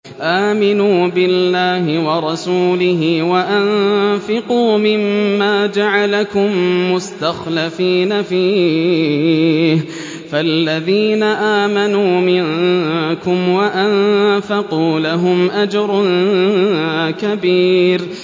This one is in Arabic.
آمِنُوا بِاللَّهِ وَرَسُولِهِ وَأَنفِقُوا مِمَّا جَعَلَكُم مُّسْتَخْلَفِينَ فِيهِ ۖ فَالَّذِينَ آمَنُوا مِنكُمْ وَأَنفَقُوا لَهُمْ أَجْرٌ كَبِيرٌ